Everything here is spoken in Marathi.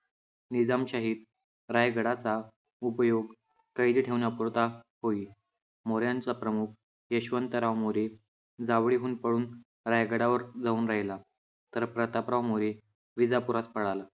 निजामशाहीत रायगडाचा उपयोग कैरी ठेवण्यापुरता होई. मोऱ्यांचा प्रमुख यशवंतराव मोरे जावळीहुन पळून रायगडावर जाऊन राहिला, तर प्रतापराव मोरे विजापुरात पळाला.